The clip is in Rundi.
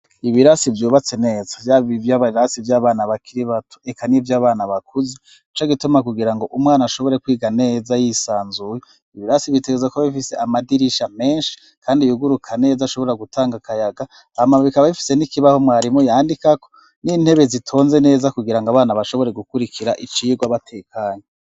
ibirasi ryubatse neza vyaba ibarirasi ryabana bakiri bato eka nivy'abana bakuze ico gituma kugira ngo umwana ashobore kwiga neza yisanzuye ibirasi bitegezako bifise amadirisha menshi kandi yuguruka neza ashobora gutanga kayaga abana bikaba bifise n'ikibaho mwarimu yandikako n'intebe zitonze neza kugirango abana bashobore gukurikira icigo abatekanya